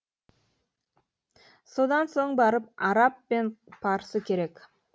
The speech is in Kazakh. содан соң барып араб пен парсы керек